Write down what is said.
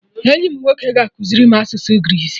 Enyi m nwoke ga-ekuziri m asụsụ Greece